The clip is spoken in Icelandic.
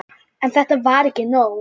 En þetta var ekki nóg.